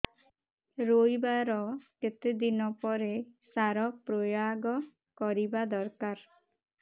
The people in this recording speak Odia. ରୋଈବା ର କେତେ ଦିନ ପରେ ସାର ପ୍ରୋୟାଗ କରିବା ଦରକାର